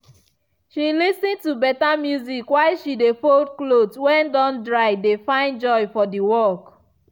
she lis ten to beta music while she dey fold cloth when don dry dey find joy for the work.